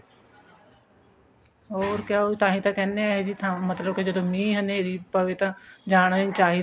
ਹੋਰ ਕਿਆ ਉਹ ਤਾਂਹੀ ਤਾਂ ਕਹਿੰਦੇ ਨੇ ਇਹੋ ਜਿਹੀ ਥਾਂ ਜਦੋਂ ਮੀਂਹ ਹਨੇਰੀ ਪਵੇ ਤਾਂ ਜਾਣਾ ਹੀ ਨੀ ਚਾਹੀਦਾ